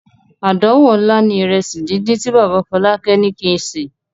Àdánwò ńlá ni ìrẹsì díndín tí bàbá Fọlákẹ́ ní kí n sè.